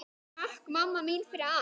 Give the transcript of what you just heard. Takk mamma mín fyrir allt.